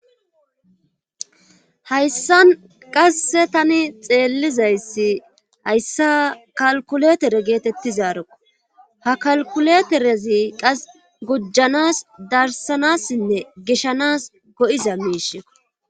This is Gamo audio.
hayssan qasse tani xeellizayssi hayssa qalquletere geetettizaroko ha kalkuleterezi qas gujanas darsanassinne gishanas go7iza miisheko